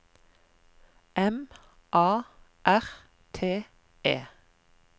M A R T E